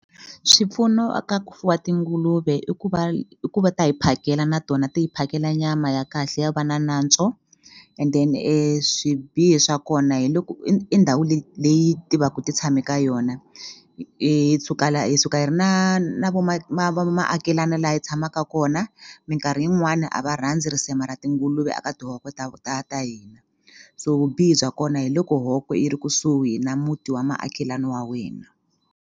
Swipfuno a ka ku fuwa tinguluve i ku va i ku va ta hi phakela na tona ti hi phakela nyama ya kahle yo va na nantswo and then swibihi swa kona hi loko i i ndhawu leyi leyi ti va ku ti tshame ka yona hi suka la hi suka hi ri na na vo maakelana laha hi tshamaka kona mikarhi yin'wani a va rhandzi risema ra tinguluve a ka tihohko ta ta hina so vubihi bya kona hi loko hoko yi ri kusuhi na muti wa maakelani wa wena.